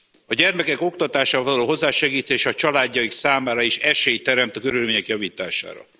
A gyermekek oktatáshoz való hozzásegítése a családjaik számára is esélyt teremt a körülményeik javítására.